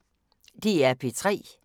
DR P3